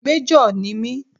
Májọ̀ ni mí